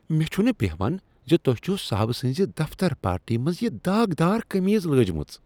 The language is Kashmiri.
مےٚ چُھنہٕ بیہان ز تۄہہِ چُھو صاحب سٕنزِ دفتر پارٹی منٛز یِہ داغدار کمیز لٲجمٕژ۔